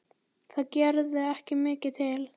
Það gerði ekki mikið til.